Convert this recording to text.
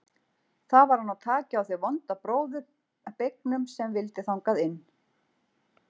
Þá var að ná taki á þeim vonda bróður beygnum sem vildi þangað inn.